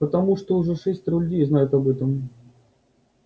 потому что уже шестеро людей знают об этом